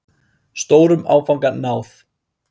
Stórum áfanga náð